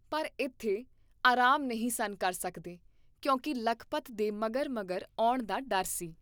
ਪਰ ਇਥੇ ਆਰਾਮ ਨਹੀਂ ਸਨ ਕਰ ਸਕਦੇ, ਕਿਉਂਕਿ ਲਖਪਤ ਦੇ ਮਗਰ ਮਗਰ ਆਉਣ ਦਾ ਡਰ ਸੀ